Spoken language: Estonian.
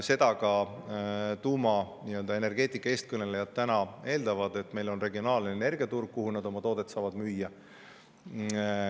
Seda ka tuumaenergeetika eestkõnelejad täna eeldavad, et meil on regionaalne energiaturg, kuhu nad oma toodet saavad müüa.